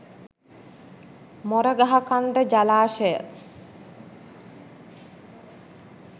Moragahakanda ජලාශය